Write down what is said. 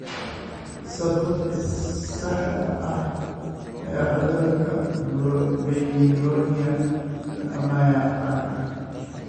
Sababta saxda ah ee cudurka Peyronie lama yaqaan.